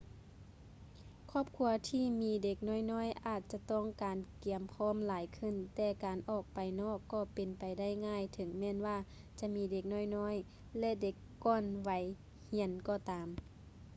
ຄອບຄົວທີ່ມີເດັກນ້ອຍໆອາດຈະຕ້ອງການການກຽມພ້ອມຫຼາຍຂຶ້ນແຕ່ການອອກໄປນອກກໍເປັນໄປໄດ້ງ່າຍເຖິງແມ່ນວ່າຈະມີເດັກນ້ອຍໆ ແລະ ເດັກກ່ອນໄວຮຽນກໍຕາມ